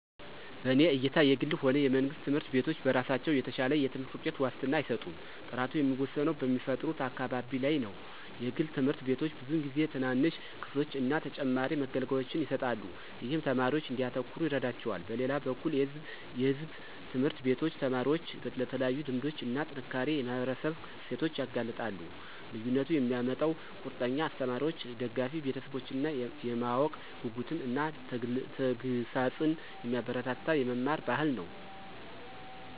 በእኔ እይታ የግልም ሆነ የመንግስት ትምህርት ቤቶች በራሳቸው የተሻለ የትምህርት ውጤት ዋስትና አይሰጡም። ጥራቱ የሚወሰነው በሚፈጥሩት አካባቢ ላይ ነው. የግል ትምህርት ቤቶች ብዙውን ጊዜ ትናንሽ ክፍሎችን እና ተጨማሪ መገልገያዎችን ይሰጣሉ, ይህም ተማሪዎች እንዲያተኩሩ ይረዳቸዋል. በሌላ በኩል የሕዝብ ትምህርት ቤቶች ተማሪዎችን ለተለያዩ ልምዶች እና ጠንካራ የማህበረሰብ እሴቶች ያጋልጣሉ። ልዩነቱን የሚያመጣው ቁርጠኛ አስተማሪዎች፣ ደጋፊ ቤተሰቦች እና የማወቅ ጉጉትን እና ተግሣጽን የሚያበረታታ የመማር ባህል ነው።